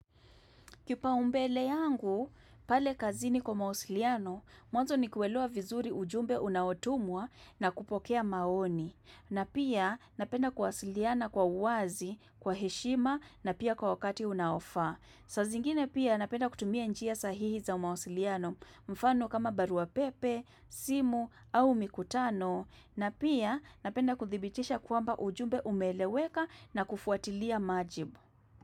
Kipaumbele yangu, pale kazini kwa mawasiliano, mwanzo ni kuelewa vizuri ujumbe unaotumwa na kupokea maoni. Na pia napenda kuwasiliana kwa uwazi, kwa heshima na pia kwa wakati unaofaa. Saa zingine pia napenda kutumia njia sahihi za mawasiliano mfano kama barua pepe, simu au mikutano. Na pia napenda kuthibitisha kwamba ujumbe umeeleweka na kufuatilia majibu.